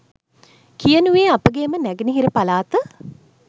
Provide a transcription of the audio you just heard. කියනුයේ අපගේම නැගෙනහිර පළාත